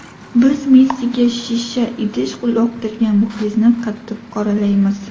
Biz Messiga shisha idish uloqtirgan muxlisni qattiq qoralaymiz.